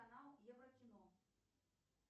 канал еврокино